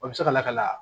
O bɛ se ka lakana